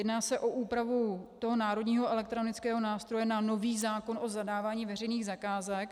Jedná se o úpravu toho Národního elektronického nástroje na nový zákon o zadávání veřejných zakázek.